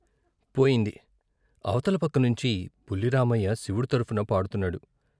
పోయింది అవతల పక్కనుంచి బుల్లి రామయ్య శివుడు తరపున పాడుతున్నాడు.